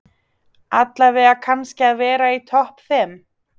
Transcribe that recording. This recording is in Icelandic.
Allavega kannski að vera í topp fimm?